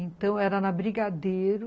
Então, era na Brigadeiro.